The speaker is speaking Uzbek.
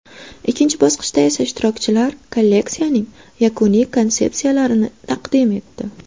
Ikkinchi bosqichda esa ishtirokchilar kolleksiyaning yakuniy konsepsiyalarini taqdim etdi.